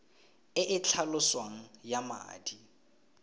e e tlhaloswang ya madi